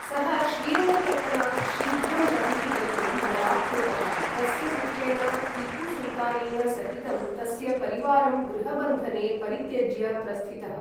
सः श्रीरङ्गपत्तनात् शीघ्रं बहिः गन्तुं बलात्कृतः, तस्य पुत्रेण टीपुसुल्तानेन सहितं तस्य परिवारं गृहबन्धने परित्यज्य प्रस्थितः।